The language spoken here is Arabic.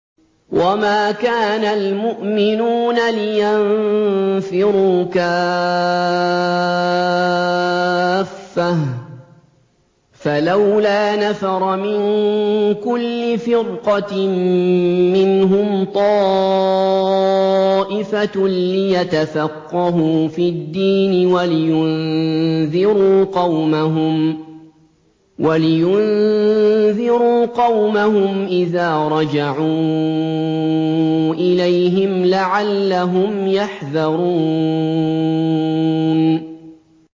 ۞ وَمَا كَانَ الْمُؤْمِنُونَ لِيَنفِرُوا كَافَّةً ۚ فَلَوْلَا نَفَرَ مِن كُلِّ فِرْقَةٍ مِّنْهُمْ طَائِفَةٌ لِّيَتَفَقَّهُوا فِي الدِّينِ وَلِيُنذِرُوا قَوْمَهُمْ إِذَا رَجَعُوا إِلَيْهِمْ لَعَلَّهُمْ يَحْذَرُونَ